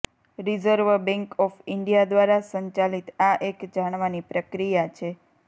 reserve Bank of India દ્વારા સંચાલિત આ એક જાણવાની પ્રક્રિયા છે